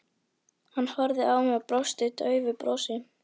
Hann horfði á mig og brosti daufu brosi.